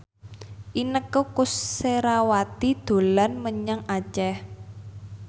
Inneke Koesherawati dolan menyang Aceh